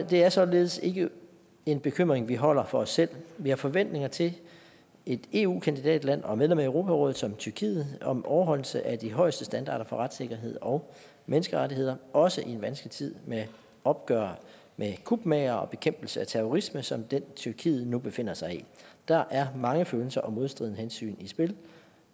det er således ikke en bekymring vi holder for os selv vi har forventninger til et eu kandidatland og medlem af europarådet som tyrkiet om overholdelse af de højeste standarder for retssikkerhed og menneskerettigheder også i en vanskelig tid med opgør med kupmagere og bekæmpelse af terrorisme som den tyrkiet nu befinder sig i der er mange følelser og modstridende hensyn i spil